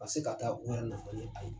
Ka se ka taa u yɛrɛ nafa ni aye